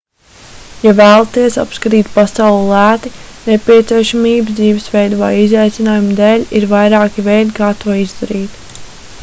ja vēlaties apskatīt pasauli lēti nepieciešamības dzīvesveida vai izaicinājuma dēļ ir vairāki veidi kā to izdarīt